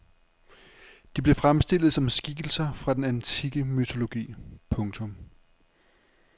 De blev fremstillet som skikkelser fra den antikke mytologi. punktum